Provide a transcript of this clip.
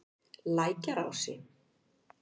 Lækjarási